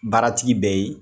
Baaratigi bɛ ye